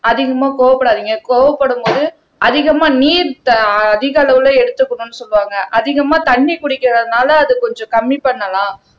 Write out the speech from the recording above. அதிகமா கோவப்படாதீங்க கோவப்படும்போது அதிகமா நீர் த அதிக அளவுல எடுத்துக்கணும்னு சொல்லுவாங்க அதிகமா தண்ணி குடிக்கிறதுனால அது கொஞ்சம் கம்மி பண்ணலாம்